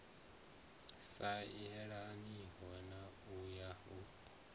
sa yelaniho na wa u